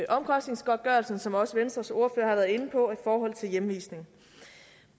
omkostningsgodtgørelsen som også venstres ordfører har været inde på og i forhold til hjemvisning